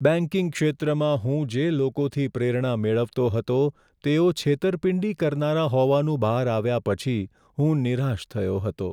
Banking ક્ષેત્રમાં હું જે લોકોથી પ્રેરણા મેળવતો હતો તેઓ છેતરપિંડી કરનારા હોવાનું બહાર આવ્યા પછી હું નિરાશ થયો હતો.